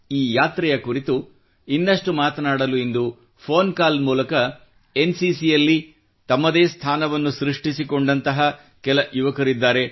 ಈ ಯಾತ್ರೆಯ ಕುರಿತು ಇನ್ನಷ್ಟು ಮಾತನಾಡಲು ಇಂದು ಫೋನ್ ಕಾಲ್ ಮೂಲಕ ಎನ್ಸಿಸಿ ಯಲ್ಲಿ ತಮ್ಮದೇ ಸ್ಥಾನವನ್ನು ಸೃಷ್ಟಿಸಿಕೊಂಡಂತಹ ಕೆಲ ಯುವಕರಿದ್ದಾರೆ